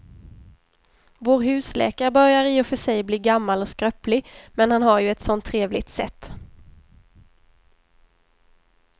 Vår husläkare börjar i och för sig bli gammal och skröplig, men han har ju ett sådant trevligt sätt!